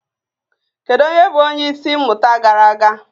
Kedu onye bụ onye isi mmụta gara aga?